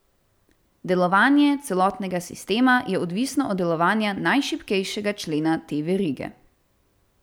Delovanje celotnega sistema je odvisno od delovanja najšibkejšega člena te verige.